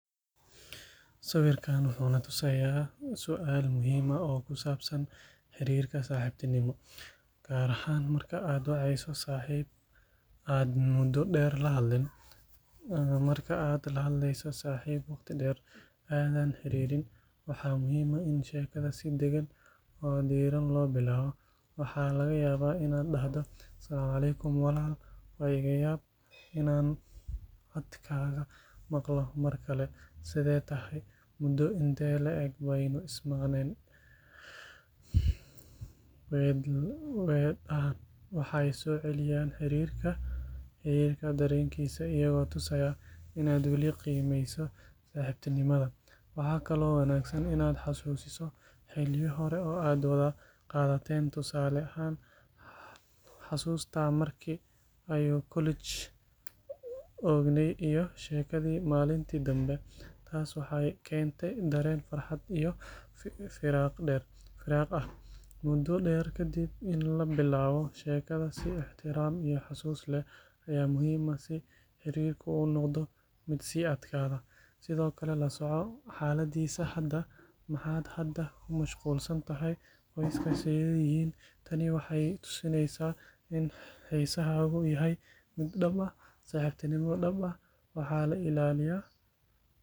Sawirkan wuxuu na tusayaa su'aal muhiim ah oo ku saabsan xiriirka saaxiibtinimo—gaar ahaan marka aad wacayso saaxiib aad muddo dheer la hadlin. Marka aad la hadleyso saaxiib waqti dheer aadan xiriirin, waxaa muhiim ah in sheekada si daggan oo diirran loo bilaabo. Waxaa laga yaabaa inaad dhahdo: "Asc walaal! Waa iga yaab inaan codkaaga maqlo mar kale. Sidee tahay? Mudo intee la eg baynu is maqneen?" Weedhahan waxay soo celiyaan xiriirka dareenkiisa iyagoo tusaya in aad weli qiimeyso saaxiibtinimada. Waxaa kaloo wanaagsan inaad xasuusiso xilliyo hore oo aad wada qaadateen, tusaale ahaan: “Xusuustaa markii aynu college joogney iyo sheekadii maalintii dambe?” Taas waxay keentaa dareen farxad iyo firaaq ah. Muddo dheer kadib, in la bilaabo sheekada si ixtiraam iyo xasuus leh ayaa muhiim ah si xiriirku u noqdo mid sii adkaada. Sidoo kale, la soco xaaladdiisa hadda: “Maxaad hadda ku mashquulsan tahay? Qoyska sidee yihiin?” Tani waxay tusinaysaa in xiisahaagu yahay mid dhab ah. Saaxiibtinimo dhab ah waa la ilaaliyaa.